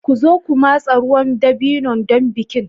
Ku zo ku matsa ruwan dabino don bikin.